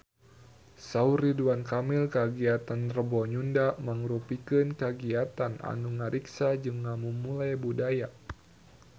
Saur Ridwan Kamil kagiatan Rebo Nyunda mangrupikeun kagiatan anu ngariksa jeung ngamumule budaya Sunda